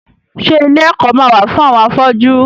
Ṣé ilé ẹ̀kọ́ ma wà fún àwọn afọ́jú?